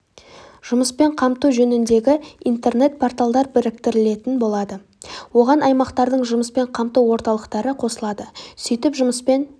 жұмыспен қамту жөніндегі интернет порталдар біріктірілетін болады оған аймақтардың жұмыспен қамту орталықтары қосылады сөйтіп жұмыспен